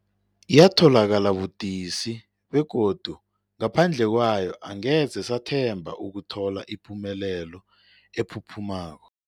Yatholakala budisi, begodu ngaphandle kwayo angeze sathemba ukuthola ipumelelo ephuphumako.